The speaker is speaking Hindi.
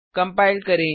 कंपाइल करें